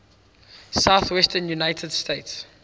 southwestern united states